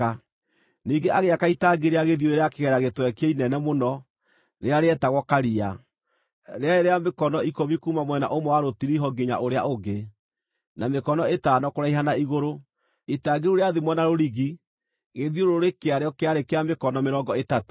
Ningĩ agĩaka itangi rĩa gĩthiũrũrĩ rĩa kĩgera gĩtwekie inene mũno rĩrĩa rĩetagwo Karia, rĩarĩ rĩa mĩkono ikũmi kuuma mwena ũmwe wa rũtiriho nginya ũrĩa ũngĩ, na mĩkono ĩtano kũraiha na igũrũ. Itangi rĩu rĩathimwo na rũrigi gĩthiũrũrĩ kĩarĩo kĩarĩ kĩa mĩkono mĩrongo ĩtatũ.